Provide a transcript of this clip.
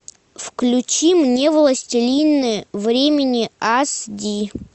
включи мне властелины времени ас ди